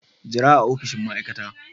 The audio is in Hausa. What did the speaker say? Jira a opishin ma'aikata.